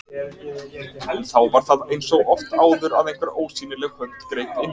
En þá var það eins og oft áður að einhver ósýnileg hönd greip inn í.